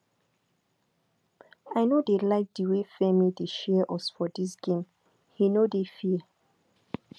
i no dey like the way femi dey share us for dis game he no dey fair